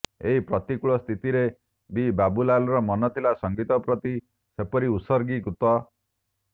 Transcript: ଏହି ପ୍ରତିକୂଳ ସ୍ଥିତିରେ ବି ବାବୁଲାର ମନଥିଲା ସଂଗୀତ ପ୍ରତି ଯେପରି ଉତ୍ସର୍ଗୀକୃତ